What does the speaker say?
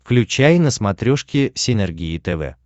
включай на смотрешке синергия тв